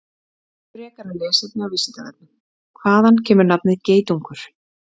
Frekara lesefni á Vísindavefnum: Hvaðan kemur nafnið geitungur?